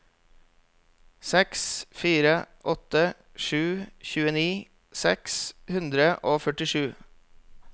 seks fire åtte sju tjueni seks hundre og førtisju